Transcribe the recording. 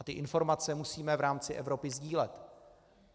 A ty informace musíme v rámci Evropy sdílet.